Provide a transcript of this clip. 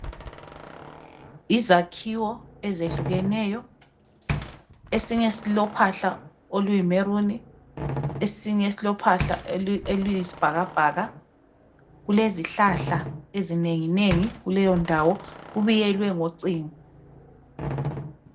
Izakhiwo ezehlukeneyo esinye silophahla oluyimaroon esinye silophahla oluyisibhakabhaka. Kulezihlahla eminenginengi kuleyondawo, kubiyelwe ngocingo.